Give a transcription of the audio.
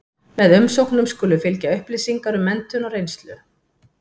Með umsóknum skulu fylgja upplýsingar um menntun og reynslu.